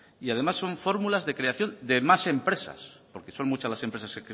y además son fórmulas de creación de más empresas porque son muchas las empresas